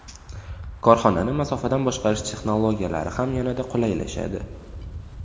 Korxonani masofadan boshqarish texnologiyalari ham yanada qulaylashadi.